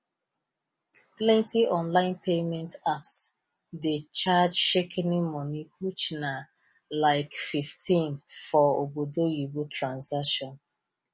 plenti online payment apps dey charge shikini money which na like 15 for obodoyibo transaction